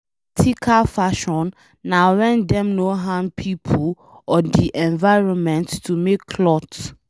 Ethical fashion na wen dem no harm pipo or de environment to make cloth